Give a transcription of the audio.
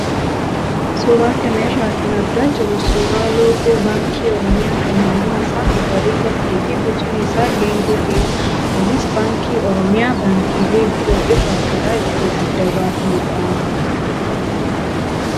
Suuraa kana irraa kan argaa jirru suuraa loogoo baankii oromiyaa kan halluun isaa magariisa ta'ee fi bocni isaa geengoo ta'edha. Kunis Baankii oromiyaa baankiilee biroo irraa karaa ittiin adda baafnudha.